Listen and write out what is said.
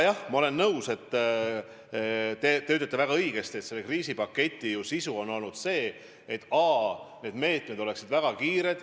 Jah, ma olen nõus, et nagu te väga õigesti ütlesite, selle kriisipaketi eesmärk on olnud see, et need meetmed oleksid väga kiired.